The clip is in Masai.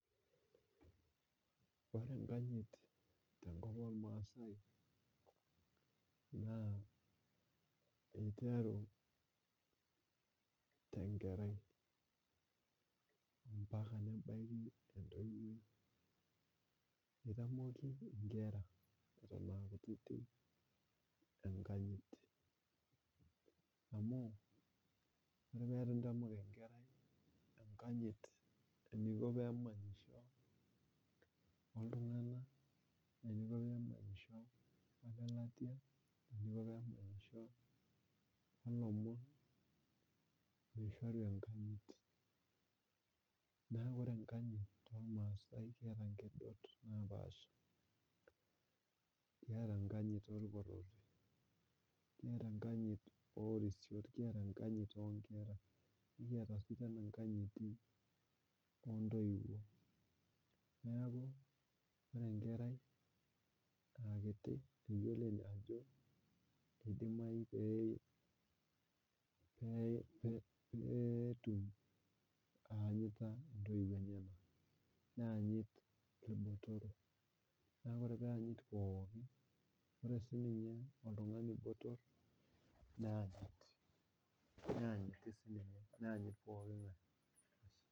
Ore enkanyit tenkop ormaasai naa, naa iteru tenkerai mpaka nebaiki entoiwoi .eitiamoki nkera eton aa kutitik enkanyit, amu ore pee eitu intamok enkerai enkanyit eniko pee manyisho oltunganak, eniko pee emanyisho olelatia ,olomon pee eishoru enkanyit .naa ore enkanyit tormasai keeta nkedot naapasha ,kiata enkanyit orporori nkiata enkanyit onkera, nikiata sii tena enkanyit oontoiwuo. neeku ore enkerai aa kiti pee etum ayanyita intoiwuo enyenak, neyanyit irbotorok ,neeku ore pee eyanyit pookin ore sii ninye oltungani botor neyanyit siininye neyanyit pooki ngae.